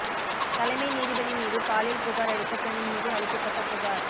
தலைமை நீதிபதி மீது பாலியல் புகார் அளித்த பெண்ணின் மீது அளிக்கப்பட்ட புகார்